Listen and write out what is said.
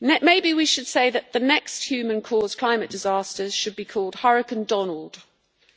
Maybe we should say that the next human caused climate disasters should be called Hurricane Donald,